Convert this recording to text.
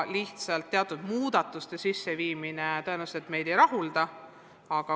Lihtsalt teatud muudatuste tegemine tõenäoliselt meid ei rahulda.